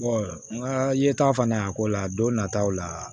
n ka yeta fana a ko la don nataw la